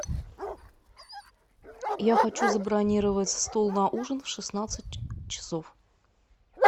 я хочу забронировать стол на ужин в шестнадцать часов